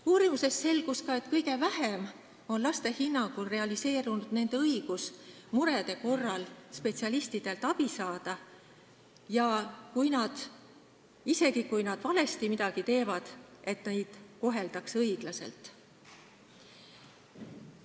Uurimusest selgus ka, et kõige vähem on laste hinnangul realiseerunud nende õigus murede korral spetsialistidelt abi saada ja see õigus, et isegi kui nad on midagi valesti teinud, siis neid koheldaks õiglaselt.